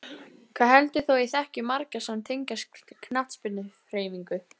Hvað heldur þú að ég þekki marga sem tengjast knattspyrnuhreyfingunni?